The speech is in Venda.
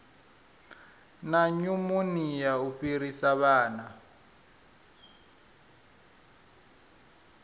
na nyumonia u fhirisa vhana